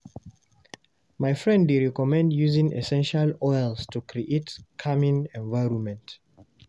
My friend dey recommend using essential oils to create calming environment.